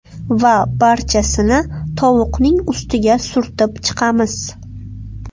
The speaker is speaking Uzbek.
Va barchasini tovuqning ustiga surtib chiqamiz.